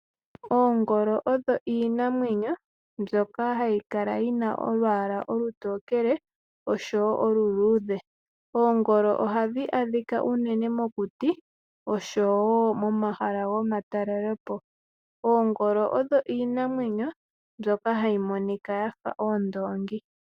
Oongolo odho iinamwenyo mbyoka hayi kala yi na olwaala olutokele osho wo oluluudhe. Oongolo ohadhi adhika unene mokuti, osho wo momahala gomatalelopo. Oongolo odho iinamwenyo mbyoka hayi monika ya fa oondoongi.